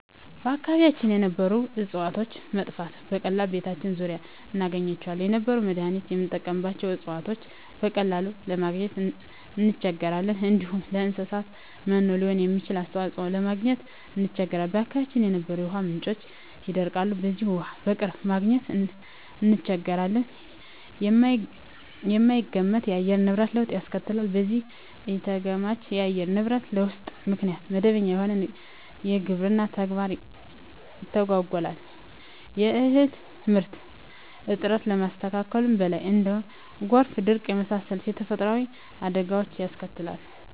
በአካባቢያችን የነበሩ እጽዋቶች መጥፋት፤ በቀላሉ በቤታችን ዙሪያ እናገኛቸው የነበሩ ለመዳኒትነት ምንጠቀምባቸው እጽዋቶችን በቀላሉ ለማግኝ እንቸገራለን፣ እንዲሁም ለእንሰሳት መኖ ሊሆኑ የሚችሉ እጽዋትን ለማግኘት እንቸገራለን፣ በአካባቢያችን የነበሩ የውሃ ምንጮች ይደርቃሉ በዚህም ውሃ በቅርብ ማግኘት እንቸገራለን፣ የማይገመት የአየር ንብረት ለውጥ ያስከትላል በዚህም ኢተገማች የአየር ንብረት ለውጥ ምክንያት መደበኛ የሆነው የግብርና ተግባር ይተጓጎላል የእህል ምርት እጥረት ከማስከተሉም በላይ እንደ ጎርፍና ድርቅ የመሳሰሉ ተፈጥሮአዊ አደጋወችንም ያስከትላል።